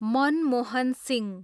Manmohan Singh